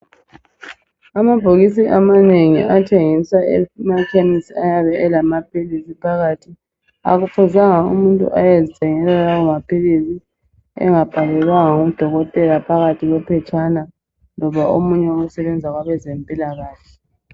Amabhokisi amanengi athengisa emakhemisi ayabe elamaphilisi phakathi. Akufuzanga umuntu ayezithengela lawo maphilisi engabhalelwanga nguDokotela phakathi kwephetshana loba omunye osebenza kwabezempilakahle.